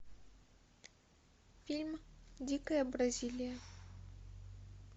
фильм дикая бразилия